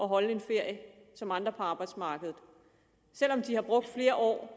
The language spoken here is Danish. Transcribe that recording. holde en ferie som andre på arbejdsmarkedet selv om de har brugt flere år